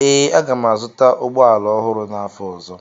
Ee, aga m azụta ụgbọ ala ọhụrụ n'afọ ọzọ